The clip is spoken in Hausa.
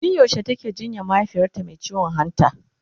tun yaushe take jinyan mahaifiyarta Mai ciwon hanta?